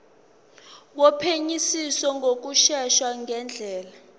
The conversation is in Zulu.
wophenyisiso ngokushesha ngendlela